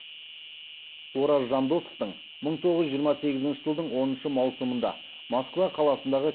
ораз жандосовтың мың тоғыз жүз жиырма сегізінші жылдың оныншы маусымында москва қаласындағы